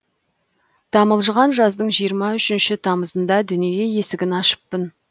тамылжыған жаздың жиырма үшінші тамызында дүние есігін ашыппын